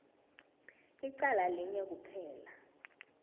licala linye kuphela